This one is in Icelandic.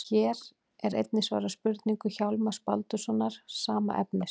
Hér er einnig svarað spurningu Hjálmars Baldurssonar, sama efnis.